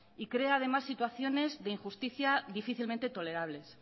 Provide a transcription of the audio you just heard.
y crea además situaciones de injusticia difícilmente tolerables